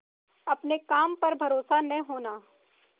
अपने काम पर भरोसा न होना